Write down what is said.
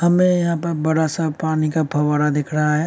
हमें यहाँ पे बड़ा सा पानी का फव्वारा दिख रहा है।